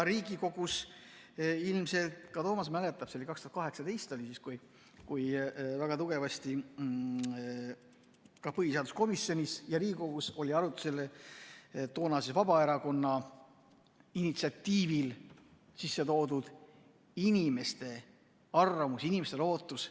Riigikogus – ilmselt ka Toomas mäletab, see oli 2018 – oli väga tugevasti põhiseaduskomisjonis ja Riigikogus arutusel toonase Vabaerakonna initsiatiivil sisse toodud inimeste arvamus, inimeste ootus.